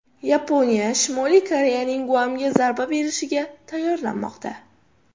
Yaponiya Shimoliy Koreyaning Guamga zarba berishiga tayyorlanmoqda.